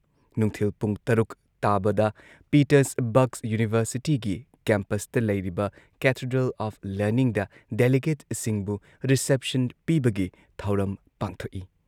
ꯅꯨꯡꯊꯤꯜ ꯄꯨꯨꯡ ꯇꯔꯨꯛ ꯇꯥꯕꯗ ꯄꯤꯇꯔꯁꯕꯔꯒ ꯌꯨꯅꯤꯚꯔꯁꯤꯇꯤꯒꯤ ꯀꯦꯝꯄꯁꯇ ꯂꯩꯔꯤꯕ ꯀꯦꯊꯦꯗ꯭ꯔꯦꯜ ꯑꯣꯐ ꯂꯔꯅꯤꯡꯗ ꯗꯦꯂꯤꯒꯦꯠꯁꯤꯡꯕꯨ ꯔꯤꯁꯦꯞꯁꯟ ꯄꯤꯕꯒꯤ ꯊꯧꯔꯝ ꯄꯥꯡꯊꯣꯛꯏ ꯫